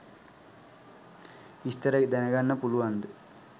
විස්තර දැනගන්න පුලුවන්ද